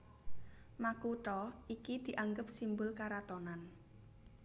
Makutha iki dianggep simbul karatonan